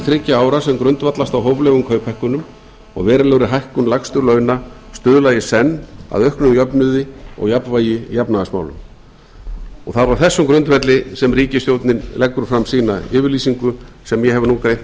þriggja ára sem grundvallast á hóflegum kauphækkunum og verulegri hækkun lægstu launa stuðla í senn að auknum jöfnuði og jafnvægi í efnahagsmálum það er á þessum grundvelli sem ríkisstjórnin leggur fram sína yfirlýsingu sem ég hef nú greint